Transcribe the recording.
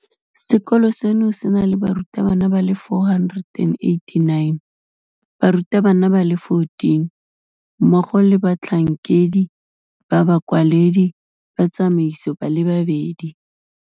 Sekolo seno se na le barutwana ba le 489, barutabana ba le 14, mmogo le batlhankedi ba bakwaledi ba tsamaiso ba le babedi.